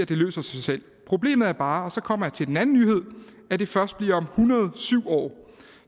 det løser sig selv problemet er bare og så kommer jeg til den anden nyhed at det først bliver om en hundrede og syv år